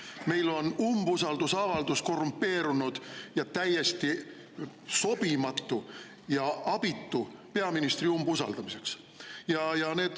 Meil on umbusaldusavaldus korrumpeerunud ja täiesti sobimatu ja abitu peaministri umbusaldamiseks.